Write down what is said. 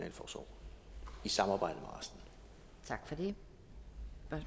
samarbejder med